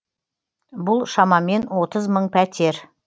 бұл шамамен отыз мың пәтер